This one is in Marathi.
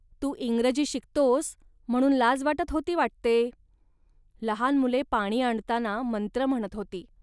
तू इंग्रजी शिकतोस, म्हणून लाज वाटत होती वाटते. लहान मुले पाणी आणताना मंत्र म्हणत होती